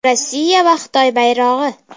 Rossiya va Xitoy bayrog‘i.